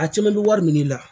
A caman bɛ wari minɛ ne la